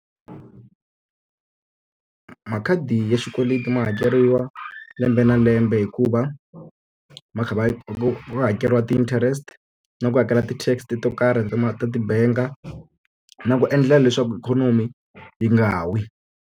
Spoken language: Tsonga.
Makhadi ya xikweleti ma hakeriwa lembe na lembe hikuva, ma kha ma hakeriwa ti-interest na ku hakela ti-TAX to karhi ta ta ti-bank-a. Na ku endla leswaku ikhonomi yi nga wi.